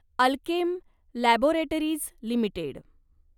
Alkem laboratories limited